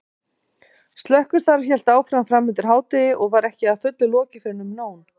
Slökkvistarf hélt áfram framundir hádegi og var ekki að fullu lokið fyrren um nón.